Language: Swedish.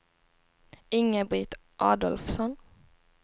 Inga-Britt Adolfsson